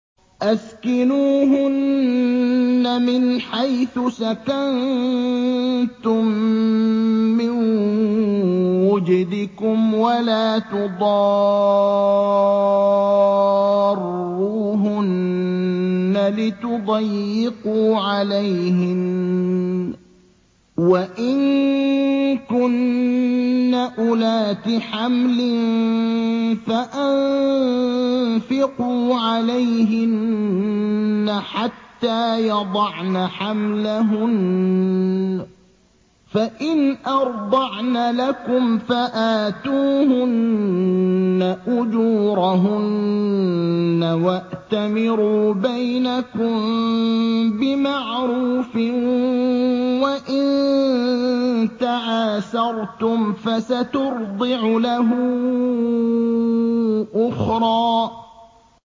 أَسْكِنُوهُنَّ مِنْ حَيْثُ سَكَنتُم مِّن وُجْدِكُمْ وَلَا تُضَارُّوهُنَّ لِتُضَيِّقُوا عَلَيْهِنَّ ۚ وَإِن كُنَّ أُولَاتِ حَمْلٍ فَأَنفِقُوا عَلَيْهِنَّ حَتَّىٰ يَضَعْنَ حَمْلَهُنَّ ۚ فَإِنْ أَرْضَعْنَ لَكُمْ فَآتُوهُنَّ أُجُورَهُنَّ ۖ وَأْتَمِرُوا بَيْنَكُم بِمَعْرُوفٍ ۖ وَإِن تَعَاسَرْتُمْ فَسَتُرْضِعُ لَهُ أُخْرَىٰ